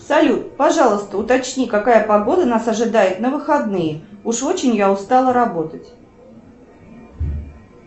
салют пожалуйста уточни какая погода нас ожидает на выходные уж очень я устала работать